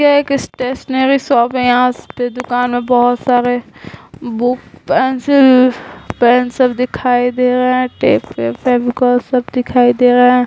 एक stationery shop है यहाँ इस पे दुकान है बहुत सारे बुक पेंसिल-पेंसिल दिखाई दे रहे हैं टेप फेविकोल सब दिखाई दे रहा है।